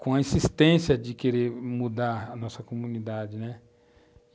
com a insistência de querer mudar a nossa comunidade, né